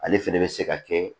Ale fɛnɛ bɛ se ka kɛ